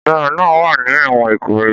Ọ̀daràn náà wà ní ẹ̀wọ̀n Ikoyi